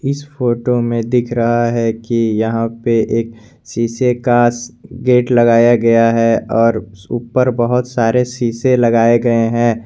इस फोटो में दिख रहा है कि यहां पे एक शीशे का गेट लगाया गया है और ऊपर बहुत सारे शीशे लगाए गए हैं।